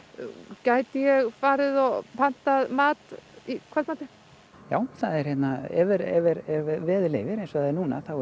gæti ég farið og pantað mat í kvöldmatinn já ef veður leyfir eins og það er núna þá er